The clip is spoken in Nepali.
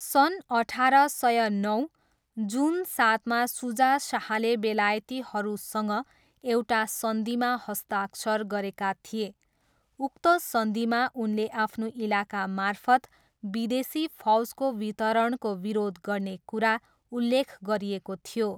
सन् अठार सय नौ, जुन सातमा सुजा शाहले बेलायतीहरूसँग एउटा सन्धिमा हस्ताक्षर गरेका थिए। उक्त सन्धिमा उनले आफ्नो इलाकामार्फत विदेशी फौजको वितरणको विरोध गर्ने कुरा उल्लेख गरिएको थियो।